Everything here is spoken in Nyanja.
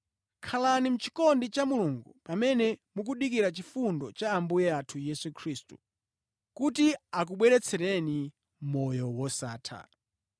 Khalani mʼchikondi cha Mulungu pamene mukudikira chifundo cha Ambuye athu Yesu Khristu kuti akubweretsereni moyo wosatha.